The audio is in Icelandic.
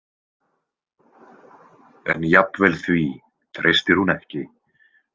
En jafnvel því treystir hún ekki.